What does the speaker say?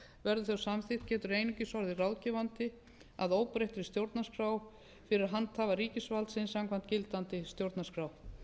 verði þau samþykkt getur einungis orðið ráðgefandi að óbreyttri stjórnarskrá fyrir handhafa ríkisvaldsins samkvæmt gildandi stjórnarskrá